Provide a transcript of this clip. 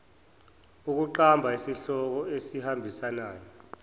ukuqamba isihloko esihambisana